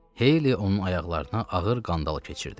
Heyli onun ayaqlarına ağır qandal keçirdi.